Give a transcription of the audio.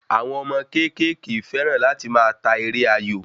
Àwọn ọmọ kékèké fẹ́ràn láti máa ta eré ayò